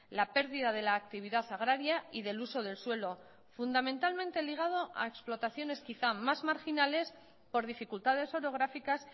la pérdida de la actividad agraria y del uso del suelo fundamentalmente ligado a explotaciones quizá más marginales por dificultades orográficas